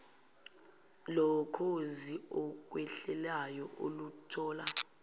lokhozi okhwehlelayo uluthola